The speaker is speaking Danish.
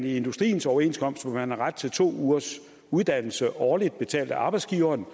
industriens overenskomst hvor man har ret til to ugers uddannelse årligt betalt af arbejdsgiveren